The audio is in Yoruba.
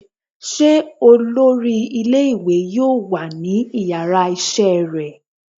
se olorí ìlé-ìwé yọọ wa ní ìyára isé rẹ?